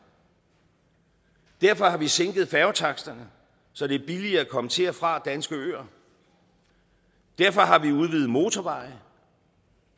derfor har vi sænket færgetaksterne så det er billigere at komme til og fra danske øer derfor har vi udvidet motorveje